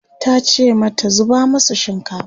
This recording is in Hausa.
tace mata 'zuba masu shinkafa!"